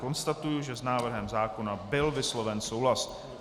Konstatuji, že s návrhem zákona byl vysloven souhlas.